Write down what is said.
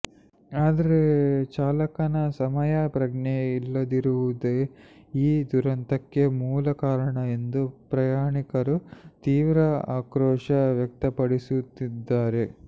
ಆದರೆ ಚಾಲಕನ ಸಮಯ ಪ್ರಜ್ಞೆ ಇಲ್ಲದಿರುವುದೇ ಈ ದುರಂತಕ್ಕೆ ಮೂಲ ಕಾರಣ ಎಂದು ಪ್ರಯಾಣಿಕರು ತೀವ್ರ ಆಕ್ರೋಶ ವ್ಯಕ್ತಪಡಿಸುತ್ತಿದ್ದಾರೆ